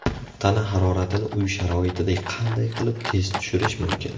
Tana haroratini uy sharoitida qanday qilib tez tushirish mumkin?.